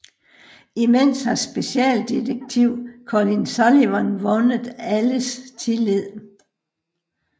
Imens har specialdetektiv Colin Sullivan vundet alles tillid